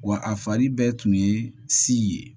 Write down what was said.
Wa a fari bɛɛ tun ye si ye